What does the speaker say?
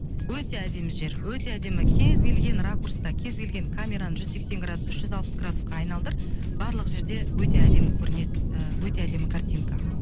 өте әдемі жер өте әдемі кез келген ракурста кез келген камераны жүз сексен градус үш жүз алпыс градусқа айналдыр барлық жерде өте әдемі көрінеді ііі өте әдемі картинка